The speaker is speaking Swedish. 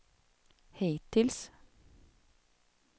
hittills